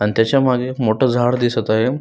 आणि त्याच्यामागे एक मोठ झाड दिसत आहे.